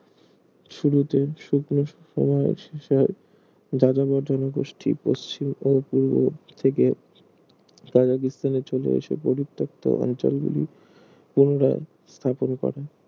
শুরুতে শুকনো সময়ের শেষে যাযাবর জনগোষ্ঠী পশ্চিম ও পূর্ব থেকে কাজাকিস্তানে চলে এসে পরিত্যক্ত অঞ্চলগুলি পুনরায় স্থাপন করেন